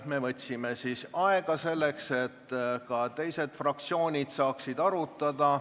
Me võtsime siis aega, et ka teised fraktsioonid saaksid asja arutada.